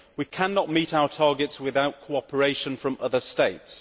We cannot meet our targets without cooperation from other states.